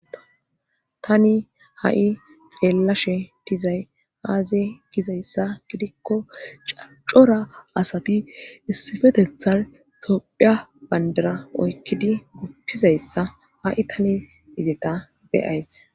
Tani ha7i xeellashe dizay aaze gizayssa gidikko cora asati issipetethar tophia bandara oykkidi guppizayssa ha7i tani izeta be7ays.